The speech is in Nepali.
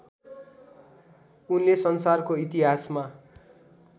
उनले संसारको इतिहासमा